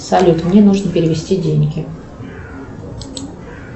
салют мне нужно перевести деньги